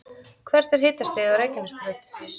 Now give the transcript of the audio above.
hvert er hitastigið á reykjanesbraut